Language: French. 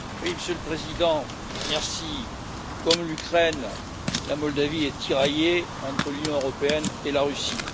Monsieur le Président, comme l'Ukraine, la Moldavie est tiraillée entre l'Union européenne et la Russie.